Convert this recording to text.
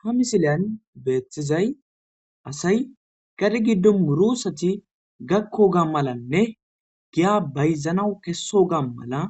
ha misileyan beeththizay asay qari giddo muroosati gakko ga malanne giya bayzanawu kesso ga mala